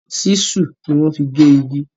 Ṣísù ni wọ́n fi gé igi.